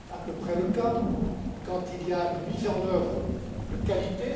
C'est à peu près le cas quand il y a une mise en œuvre de qualité.